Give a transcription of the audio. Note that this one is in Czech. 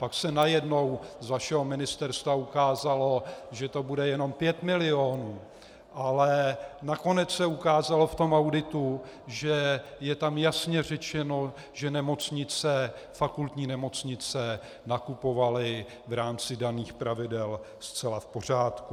Pak se najednou z vašeho ministerstva ukázalo, že to bude jenom 5 milionů, ale nakonec se ukázalo v tom auditu, že je tam jasně řečeno, že fakultní nemocnice nakupovaly v rámci daných pravidel zcela v pořádku.